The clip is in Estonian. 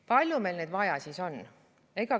Palju meil neid siis vaja on?